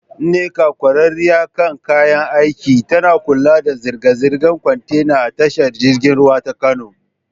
Nneka, ƙwararriya kan kayan aiki, tana kula da zirga-zirgar kwantena a tashar jirgin ruwa ta Kano.